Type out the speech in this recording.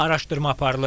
Araşdırma aparılır.